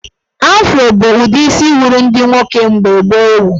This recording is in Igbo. Afro bụ udi isi wuru ndị nwoke mgbe gboo ewu